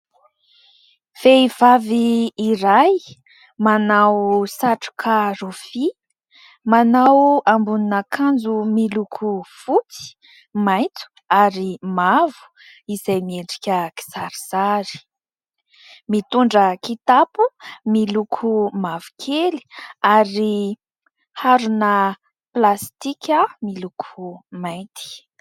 Vehivavy iray manao satroka rofia, manao ambonin'akanjo miloko fotsy, maitso ary mavo izay miendrika kisarisary, mitondra kitapo miloko mavokely ary harona plastika miloko mainty.